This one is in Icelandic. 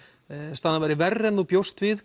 staðan væri verri en þú bjóst við